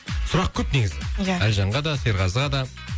сұрақ көп негізі ия әлжанға да серғазыға да